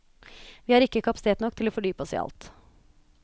Vi har ikke kapasitet nok til å fordype oss i alt.